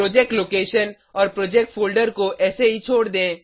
project location और project folder को ऐसा ही छोड़ दें